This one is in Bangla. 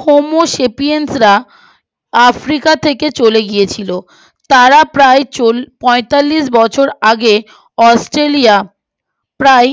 হোমো সেপিয়েনরা আফ্রিকা থেকে চলে গিয়েছিলো তারা প্রায় চল পঁইতালিশ হাজার বছর আগে অস্ট্রলিয়া প্রায়